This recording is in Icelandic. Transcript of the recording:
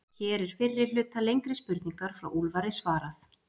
Hér er fyrri hluta lengri spurningar frá Úlfari svarað.